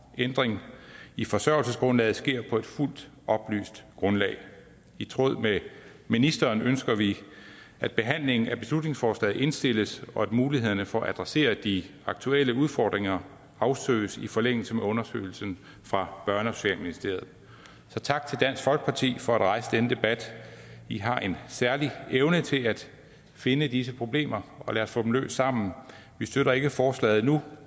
ændringer i forsørgelsesgrundlaget sker på et fuldt oplyst grundlag i tråd med ministeren ønsker vi at behandlingen af beslutningsforslaget indstilles og at mulighederne for at adressere de aktuelle udfordringer afsøges i forlængelse af undersøgelsen fra børne og socialministeriet så tak til dansk folkeparti for at rejse denne debat i har en særlig evne til at finde disse problemer og lad os få dem løst sammen vi støtter ikke forslaget nu